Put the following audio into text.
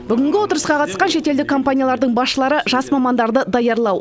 бүгінгі отырысқа қатысқан шетелдік компаниялардың басшылары жас мамандарды даярлау